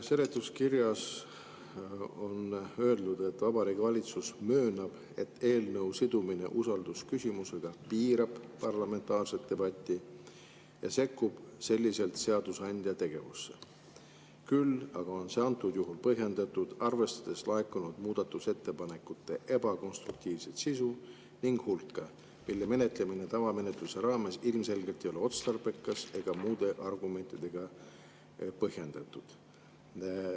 Seletuskirjas on öeldud, et Vabariigi Valitsus möönab, et eelnõu sidumine usaldusküsimusega piirab parlamentaarset debatti ja sekkub sellega seadusandja tegevusse, küll aga on see antud juhul põhjendatud, arvestades laekunud muudatusettepanekute ebakonstruktiivset sisu ning hulka, mille menetlemine tavamenetluse raames ilmselgelt ei ole otstarbekas ega muude argumentidega põhjendatud.